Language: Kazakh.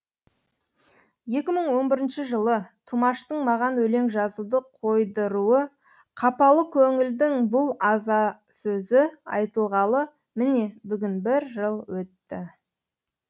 тұмаштың маған өлең жазуды қойдыруы қапалы көңілдің бұл азасөзі айтылғалы міне бүгін бір жыл өтті